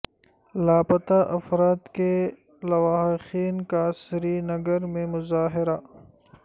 لاپتہ افراد کے لواحقین کا سری نگر میں مظاہرہ